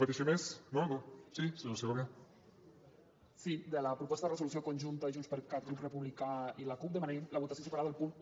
de la proposta de resolució conjunta de junts per cat grup republicà i la cup demanaríem la votació separada del punt un